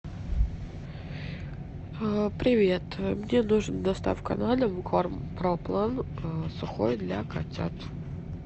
привет мне нужен доставка на дом корм про план сухой для котят